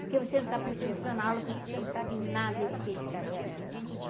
Porque você não está prestando atenção na aula, por isso que você não sabe nada, e eu fiquei de castigo.